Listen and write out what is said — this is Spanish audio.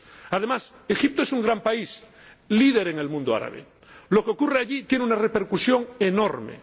Además, Egipto es un gran país, líder en el mundo árabe lo que ocurre allí tiene una repercusión enorme.